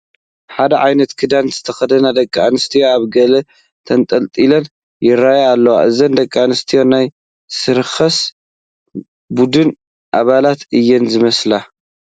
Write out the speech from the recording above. ሓደ ዓይነት ክዳን ዝተኸደና ደቂ ኣንስትዮ ኣብ ገለ ተንጠላጢለን ይርአያ ኣለዋ፡፡ እዘን ደቂ ኣንስትዮ ናይ ሰርከስ ቡድን ኣባላት እየን ዝመስላ፡፡